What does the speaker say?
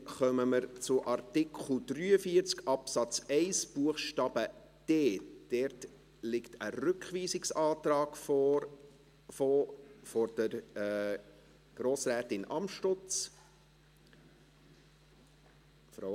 Dann kommen wir zu Artikel 43 Absatz 1 Buchstabe d. Dazu liegt ein Rückweisungsantrag von Grossrätin Amstutz vor.